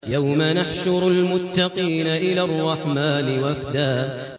يَوْمَ نَحْشُرُ الْمُتَّقِينَ إِلَى الرَّحْمَٰنِ وَفْدًا